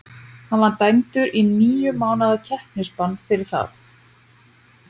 Hann var dæmdur í níu mánaða keppnisbann fyrir það.